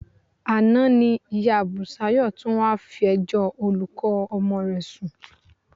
Àná ni ìyá Bùsáyọ̀ tún wá fẹjọ́ olùkọ́ ọmọ rẹ̀ sùn